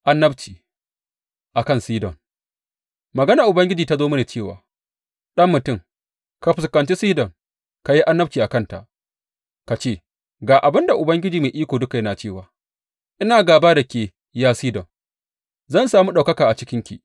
Annabci a kan Sidon Maganar Ubangiji ta zo mini cewa, Ɗan mutum, ka fuskanci Sidon; ka yi annabci a kanta ka ce, Ga abin da Ubangiji Mai Iko Duka yana cewa, Ina gāba da ke, ya Sidon, zan sami ɗaukaka a cikinki.